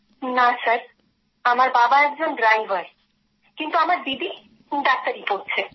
না স্যার আমার বাবা একজন ড্রাইভার কিন্ত আমার দিদি ডাক্তারী পড়ছে